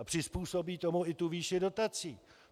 A přizpůsobí tomu i tu výši dotací.